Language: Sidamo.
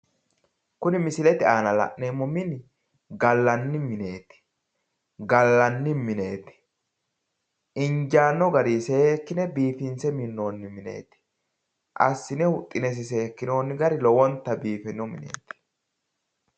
Kuni misilete aana la'neemo mini gallanni mineeti. Gallanni mineeti Injaano garii seekkine biifinse minnoonni mineeti. Assine huxxinesi sekkinoonni gari lowonta biifino mineeti.